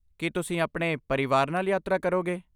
ਕੀ ਤੁਸੀਂ ਆਪਣੇ ਪਰਿਵਾਰ ਨਾਲ ਯਾਤਰਾ ਕਰੋਗੇ?